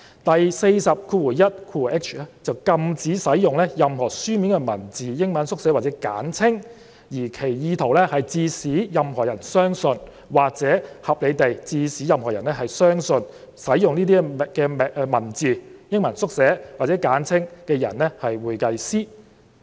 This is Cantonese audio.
第 421hi 條則禁止使用"任何書面文字、英文縮寫或簡稱，而其意圖是致使任何人相信或可合理地致使任何人相信使用該等文字、英文縮寫或簡稱的人為會計師"。